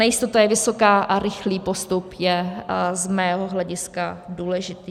Nejistota je vysoká a rychlý postup je z mého hlediska důležitý.